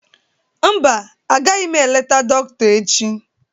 Mba, agaghị m eleta dọkịta echi.